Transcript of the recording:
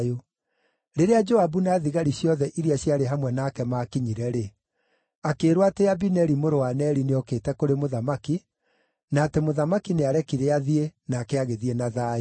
Rĩrĩa Joabu na thigari ciothe iria ciarĩ hamwe nake maakinyire-rĩ, akĩĩrwo atĩ Abineri mũrũ wa Neri nĩokĩte kũrĩ mũthamaki, na atĩ mũthamaki nĩarekire athiĩ, nake agĩthiĩ na thayũ.